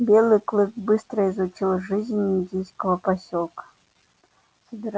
белый клык быстро изучил жизнь индейского посёлка